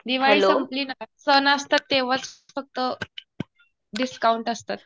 दिवाळी सपंली ना. सण असतात तेव्हाच फक्त डिस्काउंट असतात.